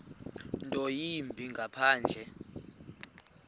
nto yimbi ngaphandle